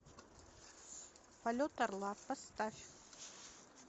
полет орла поставь